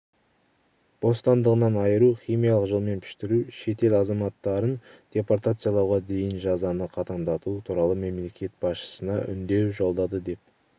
бостандығынан айыру химиялықжолменпіштіру шет ел азаматтарын депортациялауға дейінжазаны қатаңдату туралы мемлекет басшысына үндеу жолдады деп